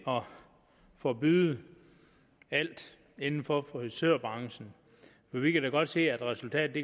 forbyde alt inden for frisørbranchen vi kan da godt se at resultatet